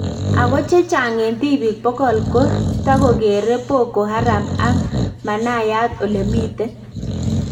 Ako chechang en tibiik 100 ko takokeree Boko Haram ak manayat olemiten